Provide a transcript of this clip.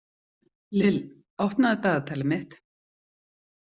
Lill, opnaðu dagatalið mitt.